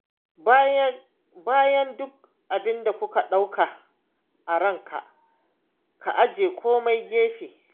Bayan duk abinda ka ɗauka a ranka, ka aje komai gefe.